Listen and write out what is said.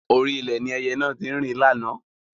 Orí ilẹ̀ ni ẹyẹ náà tí ń rìn láánaà